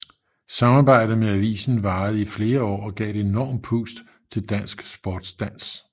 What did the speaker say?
Samarbejdet med avisen varede i flere år og gav et enormt pust til dansk sportsdans